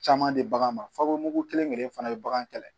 Caman di bagan ma fako mugu kelen kelen fana bɛ bagan kɛlɛ